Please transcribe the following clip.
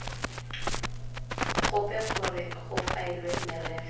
gope gore go faelwe merero